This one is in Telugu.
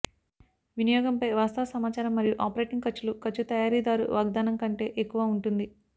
వినియోగంపై వాస్తవ సమాచారం మరియు ఆపరేటింగ్ ఖర్చులు ఖర్చు తయారీదారు వాగ్దానం కంటే ఎక్కువ ఉంటుంది